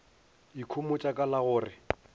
ikhomotša ka la go re